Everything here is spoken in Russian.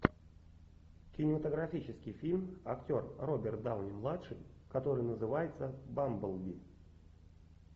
кинематографический фильм актер роберт дауни младший который называется бамблби